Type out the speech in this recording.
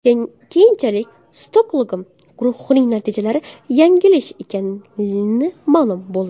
Keyinchalik, Stokgolm guruhining natijalari yanglish ekani ma’lum bo‘ldi.